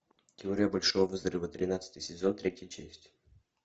теория большого взрыва тринадцатый сезон третья часть